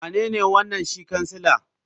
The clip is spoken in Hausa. Wanene wanan shi kansila?